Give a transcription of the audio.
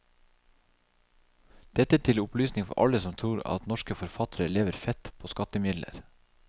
Dette til opplysning for alle som tror at norske forfattere lever fett på skattemidler.